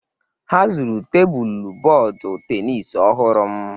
Ha zuru tebụl bọọdụ tenis ọhụrụ m